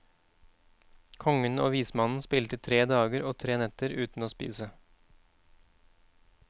Kongen og vismannen spilte i tre dager og tre netter uten å spise.